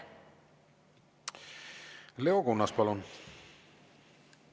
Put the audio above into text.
Leo Kunnas, palun!